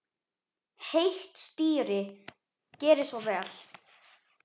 Heitt stýri, gerið svo vel.